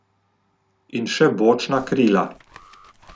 In še bočna krila.